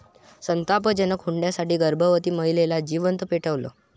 संतापजनक!, हुंड्यासाठी गर्भवती महिलेला जिवंत पेटवलं